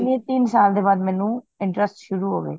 ਤਿੰਨ ਸਾਲ ਦੇ ਬਾਅਦ ਮੈਨੂੰ interest ਸ਼ੁਰੂ ਹੋਵੇ